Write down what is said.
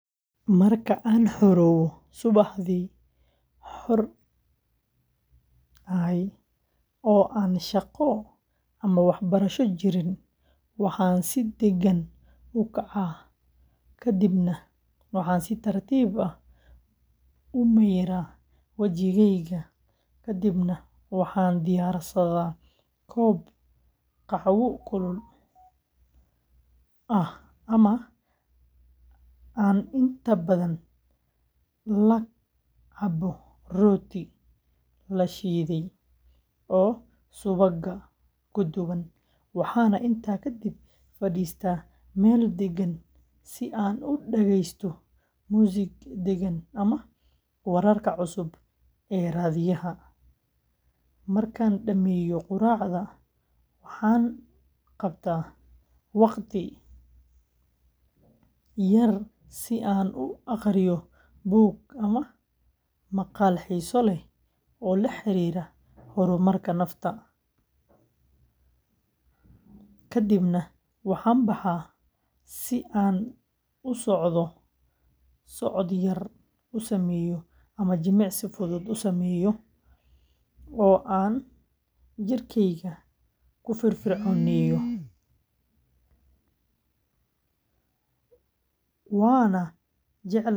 Marka aan subaxdii xor ahay oo aan shaqo ama waxbarasho jirin, waxaan si degan u kacaa kadibna waxaan si tartiib ah u mayraa wajigeyga, kadibna waxaan diyaarsadaa koob qaxwo kulul ah oo aan inta badan la cabbo rooti la shiiday oo subagga ku dhagan, waxaana intaa kadib fadhiistaa meel deggan si aan u dhageysto muusig degan ama wararka cusub ee raadiyaha, markaan dhammeeyo quraacda waxaan qaataa waqti yar si aan u akhriyo buug ama maqaal xiiso leh oo la xiriira horumarka nafta, kadibna waxaan baxaa si aan socod yar u sameeyo ama jimicsi fudud u sameeyo oo aan jidhkayga ku firfircooneeyo, waana jeclahay in aan.